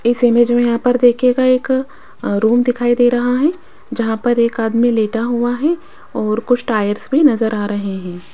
इस इमेज में यहां पर देखिएगा एक रूम दिखाई दे रहा है जहां पर एक आदमी लेटा हुआ है और कुछ टायर्स भी नजर आ रहे हैं।